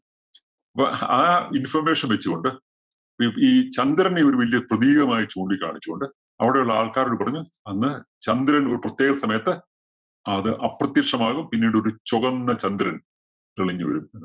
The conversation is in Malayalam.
അപ്പോ ആ information വച്ച് കൊണ്ട് ഈ ഈ ചന്ദ്രനെ ഒരു വലിയ പ്രതീകമായി ചൂണ്ടി കാണിച്ചു കൊണ്ട് അവിടെയുള്ള ആള്‍ക്കാരോട് പറഞ്ഞു. അന്ന് ചന്ദ്രന്‍ ഒരു പ്രത്യേകസമയത്ത് അത് അപ്രത്യക്ഷമാകും പിന്നീട് ഒരു ചൊകന്ന ചന്ദ്രന്‍ തെളിഞ്ഞ് വരും.